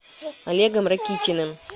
олегом ракитиным